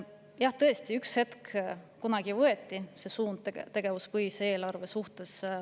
Jah, kunagi võeti suund tegevuspõhisele eelarvele.